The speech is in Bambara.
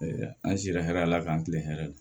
An sera hɛrɛ la k'an kilen hɛrɛ la